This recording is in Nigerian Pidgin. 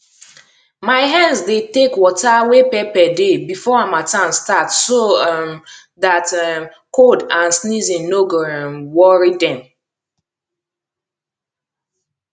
my hens dey take water wey pepper dey before harmattan start so um dat um cold and sneezing no go um worry dem